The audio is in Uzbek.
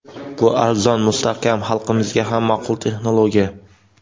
Bu arzon, mustahkam, xalqimizga ham ma’qul texnologiya.